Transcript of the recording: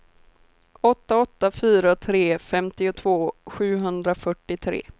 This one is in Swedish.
åtta åtta fyra tre femtiotvå sjuhundrafyrtiotre